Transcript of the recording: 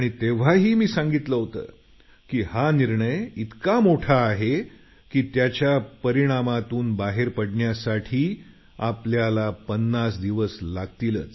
तेव्हाही मी सांगितलं होतं की हा निर्णय इतका मोठा आहे की त्याच्या परिणामातून बाहेर पाडण्यासाठी आपल्याला 50 दिवस लागतीलच